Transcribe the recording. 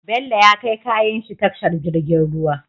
Bello ya kai kayan shi tashar jirgin ruwa